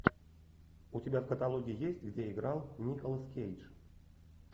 у тебя в каталоге есть где играл николас кейдж